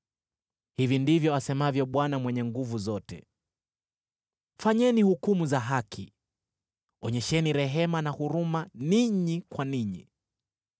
“Hivi ndivyo asemavyo Bwana Mwenye Nguvu Zote: ‘Fanyeni hukumu za haki, onyesheni rehema na huruma ninyi kwa ninyi.